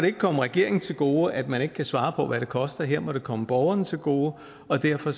ikke komme regeringen til gode at man ikke kan svare på hvad det koster her må det komme borgerne til gode og derfor